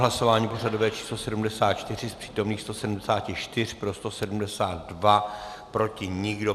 Hlasování pořadové číslo 74, z přítomných 174 pro 172, proti nikdo.